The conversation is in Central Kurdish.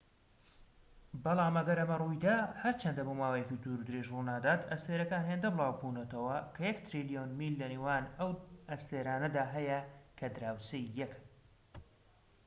بەڵام ئەگەر ئەمە ڕوویدا هەرچەندە بۆماوەیەکی دوورودرێژ ڕوونادات ئەستێرەکان هێندە بلاوبونەتەوە کە یەك تریلیۆن میل لەنێوان ئەو ئەستێرانەدا هەیە کە دراوسێی یەکن